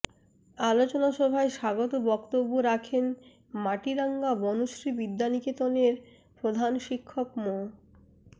আলোচনা সভায় স্বাগত বক্তব্য রাখেন মাটিরাঙ্গা বনশ্রী বিদ্যানিকেতনের প্রধান শিক্ষক মো